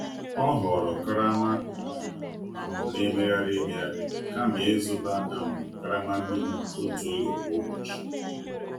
O họọrọ karama a um na-emegharị emegharị kama ịzụta um karama mmiri otu oge kwa ụbọchị.